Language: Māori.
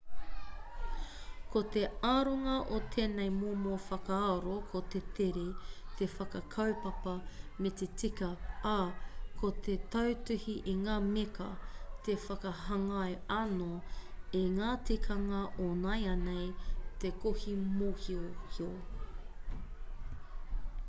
ko te aronga o tēnei momo whakaaro ko te tere te whakakaupapa me te tika ā ko te tautuhi i ngā meka te whakahāngai anō i ngā tikanga o nāianei te kohi mōhiohio